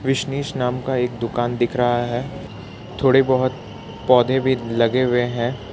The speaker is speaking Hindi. बिसनेस नाम का एक दुकान दिख रहा है थोड़े बहुत पौधे भी लगे हुए हैं।